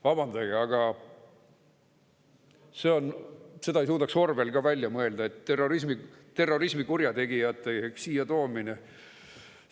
Vabandage, aga seda ei suudaks Orwell ka välja mõelda, et terrorismikurjategijate siia toomine …